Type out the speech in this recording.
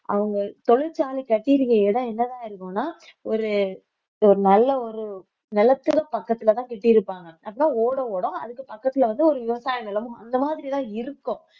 அவங்க தொழிற்சாலை கட்டியிருக்கிற இடம் என்னதான் இருக்கும்னா ஒரு ஒரு நல்ல ஒரு நிலத்தில பக்கத்துல தான் கட்டி இருப்பாங்க அப்பதான் ஓடை ஓடும் அதுக்கு பக்கத்துல வந்து ஒரு விவசாய நிலமும் அந்த மாதிரி தான் இருக்கும்